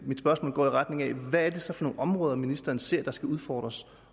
mit spørgsmål går i retning af hvad det så er for nogle områder ministeren ser skal udfordres